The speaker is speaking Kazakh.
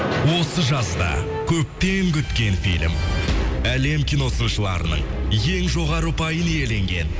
осы жазда көптен күткен фильм әлем кино сыншыларының ең жоғары ұпайын иеленген